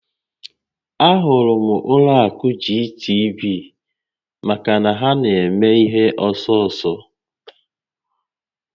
A hụrụ m ụlọ akụ GTB maka na ha na eme ihe ọsọ ọsọ